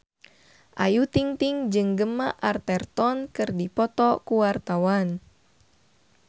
Ayu Ting-ting jeung Gemma Arterton keur dipoto ku wartawan